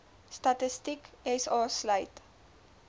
statistiek sa sluit